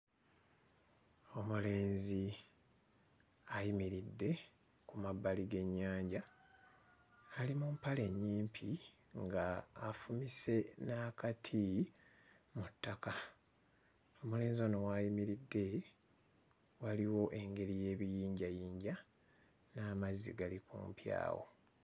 Omulenzi ayimiridde ku mabbali g'ennyanja ali mu mpale nnyimpi ng'afumise n'akati mu ttaka. Omulenzi ono w'ayimiridde waliwo engeri y'ebiyinjayinja n'amazzi gali kumpi awo.